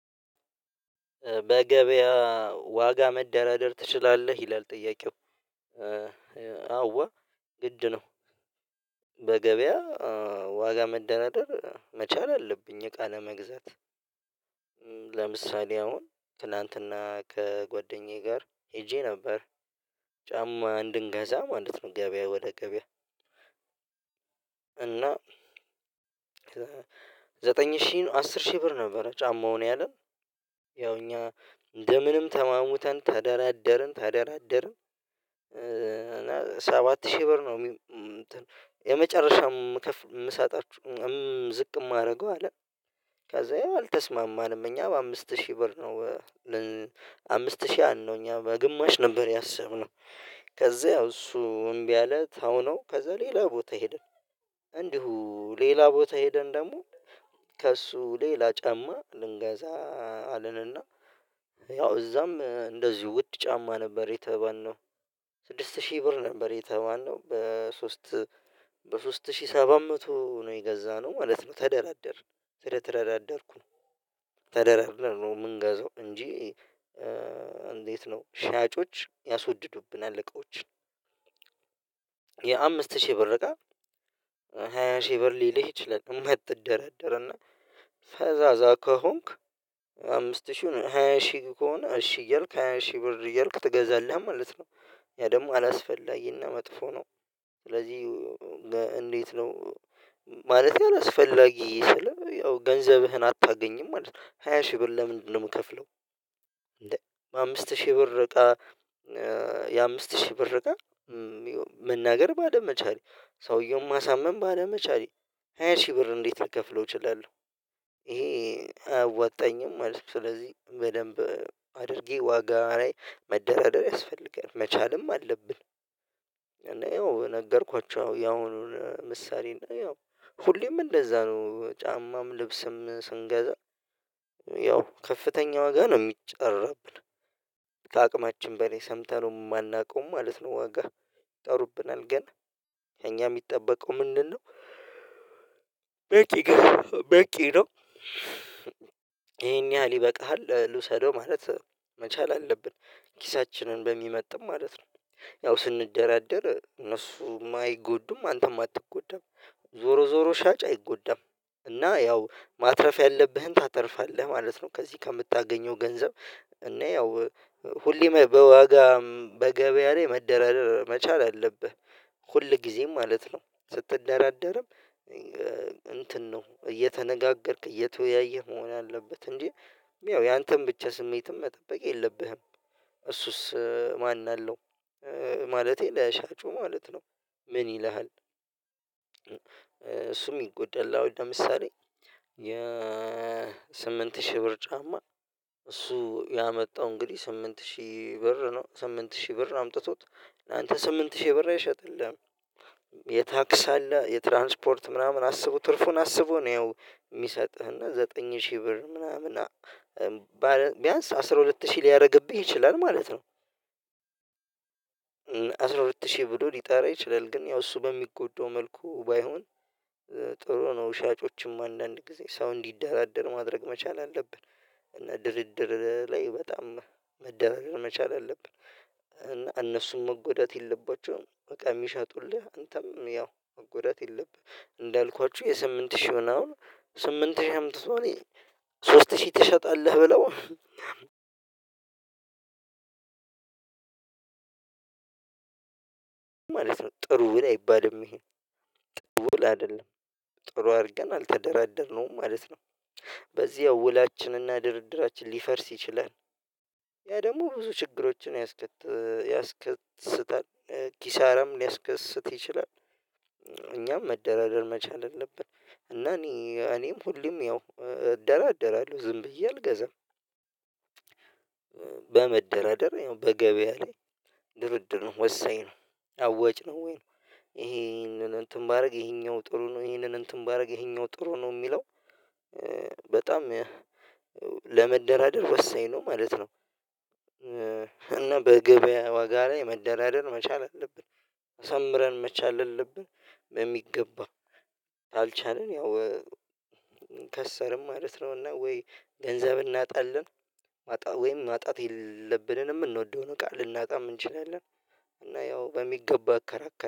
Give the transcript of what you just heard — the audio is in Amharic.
በገበያ ዋጋ መደራደር ትችላለህ ይላል? ጥያቄው አዎ ግድ ነው። በገበያ ዋጋ መደናደር መቻል አለብኝ እቃ ለመግዛት። ለምሳሌ አሁን ትላንትና ከጓደኛዬ ጋር ሄጄ ነበር ጫማ እንድንገዛ ማለት ነው። ገበያ ወደ ገበያ። እና ዘጠኝ ሺህ አስር ሺህ ብር ነበረ ጫማውን ያለ ያው እኛ እንደ ምንም ተማሙተን ተደራደርን ተደራደርን እና ሰባት ሺህ ብር ነው። የመጨረሻው ከፍ የምሰጣችሁ ዝቅ የማደርገው አለ። ከዛ ይሄ አልተስማማንም እኛ በአምስት ሺህ ብር ነው። አምስት ሺህ አለው እኛ በግማሽ ነበር ያሰብነው። ከዛ ያው እሱ እምቢ አለ ታውነው ከዛ ሌላ ቦታ ሄደ። እንዲሁ ሌላ ቦታ ሄደን ደግሞ ከእሱ ሌላ ጫማ ልንገዛ። አለንና እና ያው እዛም እንደዚሁ ውድ ጫማ ነበር የተባልነው። ስድስት ሺህ ብር ነበር የተባልነው በሶስት በሶስት ሺህ ሰባት መቶ ነው የገዛነው ማለት ነው። ተደራደርን ስለተደራደርኩ ተደራድረን ነው የምንገዛው እንጂ። እንዴት ነው ሻጮች ያስወድዱብናል እቃዎች። የአምስት ሺህ ብር እቃ ሃያ ሺህ ብር ሊልህ ይችላል የማትደረደር እና ፈዛዛ ከሆንክ አምስት ሺህ ነው ሃያ ሺህ ከሆነ እሺ እያልክ ሃያ ሺህ ብር እያልክ ትገዛልህ ማለት ነው። ያ ደግሞ አላስፈላጊና መጥፎ ነው። ስለዚህ እንዴት ነው? ማለት አላስፈላጊ ስል ያው ገንዘብህን አታገኝም ማለት ነው። ሃያ ሺህ ብር ለምንድነው የምከፍለው? አምስት ሺህ ብር እቃ የአምስት ሺህ ብር እቃ መናገር ባለመቻሌ ሰውየውን ማሳመን ባለመቻሌ ሃያ ሺህ ብር እንዴት ልከፍለው እችላለሁ? ይሄ አያወጣኝም ማለት ነው። ስለዚህ በደንብ አድርጌ ዋጋ ላይ መደራደር ያስፈልጋል መቻልም አለብን። እኔ ነገርኳቸው ያሁኑን ምሳሌ እና ያው ሁሌም እንደዛ ነው ጫማም ልብስም ስንገዛ ያው ከፍተኛ ዋጋ ነው የሚጠራብን ከአቅማችን በላይ ሰምተነው የማናውቀው ማለት ነው። ዋጋ ይጠሩብናል ግን የኛ የሚጠበቀው ምንድነው? በቂ በቂ ነው። ይሄን ያህል ይበቃሃል ልውሰደው ማለት መቻል አለብን። ኪሳችንን በሚመጥን ማለት ነው። ያው ስንደራደር እነሱ አይጎዱም አንተም አትጎዳም። ዞሮ ዞሮ ሻጭ አይጎዳም። እና ያው ማትረፍ ያለብህን ታተርፋለህ ማለት ነው። ከዚህ ከምታገኘው ገንዘብ እና ያው ሁሌም በዋጋም በገበያም ላይ መደራደር መቻል አለብህ። ሁል ጊዜም ማለት ነው ስትደራደርም እንትን ነው እየተነጋገርክ እየተወያየህ መሆን አለበት። እንጂ ያው ያንተን ብቻ ስሜትም መጠበቅ የለብህም። እሱስ ማን አለው? ማለቴ ለሻጩ ማለት ነው ምን ይልሃል? እሱ የሚጎደላው ለምሳሌ የ የስምንት ሺህ ብር ጫማ እሱ ያመጣው እንግዲህ ስምንት ሺህ ብር ነው ስምንት ሺህ ብር ነው አምጥቶት ላንተ ስምንት ሺህ ብር አይሸጠልህም። የታክስ አለ የትራንስፖርት ምናምን አስቦ ትርፉን አስቦ ነው የሚሰጥህና ዘጠኝ ሺህ ብር ምናምን ቢያንስ አስራ ሁለት ሺህ ሊያደርግብኝ ይችላል ማለት ነው። አስራ ሁለት ሺህ ብሎ ሊጠራ ይችላል ግን ያው እሱ በሚጎዳው መልኩ ባይሆን ጥሩ ነው። ሻጮችም አንዳንድ ጊዜ ሰው እንዲደራደር ማድረግ መቻል አለብን። እና ድርድር ላይ በጣም መደራጀር መቻል አለብን። እነሱን መጎዳት የለባቸውም በቃ የሚሸጡልህ አንተም ያው መጎዳት የለብህም። እንዳልኳችሁ የስምንት ሺህ ሆና አሁን ስምንት ሺህ አምጥቶ እኔ ሶስት ሺህ ትሸጣለህ ብለው ማለት ነው። ጥሩ ውል አይባልም ይሄ ጥሩ ውል አይደለም። ጥሩ አድርገን አልተደራደርነውም ማለት ነው። በዚህ ውላችንና ድርድራችን ሊፈርስ ይችላል። ያ ደግሞ ብዙ ችግሮችን ያስከት ያስከትስታል ኪሳራም ሊያስከስት ይችላል። እኛም መደራደር መቻል አለብን። እና እኔ እኔም ሁሌም ያው እደራደራለሁ ዝም ብዬ አልገዛም። በመደራደር በገበያ ላይ ድርድር ነው ወሰኝ ነው አወጭ ነው ወይ ነው? ይሄንን እንትን ባደርግ ይሄኛው ጥሩ ነው ይሄንን እንትን ባደርግ ይሄኛው ጥሩ ነው የሚለው በጣም ለመደራደር ወሰኝ ነው ማለት ነው። እና በግብያ ዋጋ ላይ መደራደር መቻል አለብን። አሳምረን መቻል አለብን። በሚገባው ካልቻልን ያው ከሰርን ማለት ነውና ወይ ገንዘብ እናጣለን። ማጣት ወይም ማጣት የለብንንም እንወደው ነው ቃል ልናጣ እንችላለን እና ያው በሚገባ እከራከር